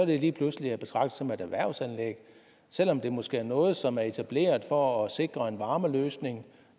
lige pludselig at betragte som et erhvervsanlæg selv om det måske er noget som er etableret for at sikre en varmeløsning